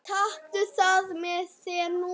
Taktu það með þér núna!